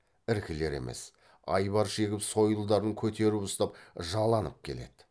іркілер емес айбар шегіп сойылдарын көтеріп ұстап жаланып келеді